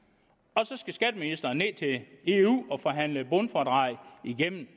og så skal skatteministeren ned i eu og forhandle et bundfradrag igennem